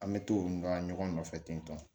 An bɛ t'olu ka ɲɔgɔn nɔfɛ ten tɔn